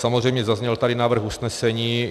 Samozřejmě, zazněl tady návrh usnesení.